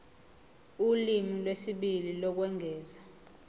ulimi lwesibili lokwengeza